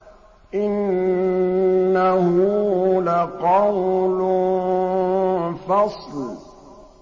إِنَّهُ لَقَوْلٌ فَصْلٌ